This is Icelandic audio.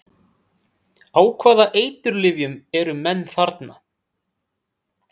Á hvaða eiturlyfjum eru menn þarna?